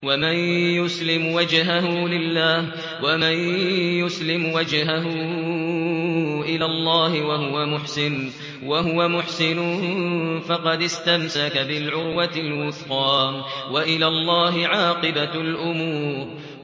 ۞ وَمَن يُسْلِمْ وَجْهَهُ إِلَى اللَّهِ وَهُوَ مُحْسِنٌ فَقَدِ اسْتَمْسَكَ بِالْعُرْوَةِ الْوُثْقَىٰ ۗ وَإِلَى اللَّهِ عَاقِبَةُ الْأُمُورِ